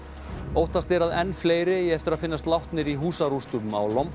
óttast er að enn fleiri eigi eftir að finnast látnir í húsarústum á